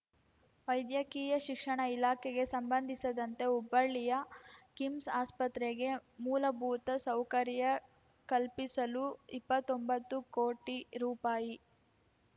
ವೈದ್ಯಕೀಯ ಶಿಕ್ಷಣ ಇಲಾಖೆಗೆ ಸಂಬಂದಿಸದಂತೆ ಹುಬ್ಬಳ್ಳಿಯ ಕಿಮ್ಸ್‌ ಆಸ್ಪತ್ರೆಗೆ ಮೂಲಭೂತ ಸೌಕರ್ಯ ಕಲ್ಪಿಸಲು ಇಪ್ಪತ್ತೊಂಬತ್ತು ಕೋಟಿ ರೂಪಾಯಿ